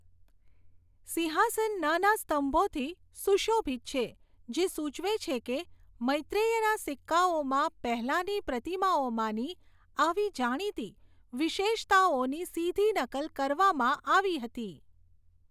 સિંહાસન નાના સ્તંભોથી સુશોભિત છે, જે સૂચવે છે કે મૈત્રેયના સિક્કાઓમાં પહેલાંની પ્રતિમાઓમાંની આવી જાણીતી વિશેષતાઓની સીધી નકલ કરવામાં આવી હતી.